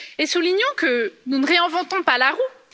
Soulignons que nous ne réinventons pas la roue.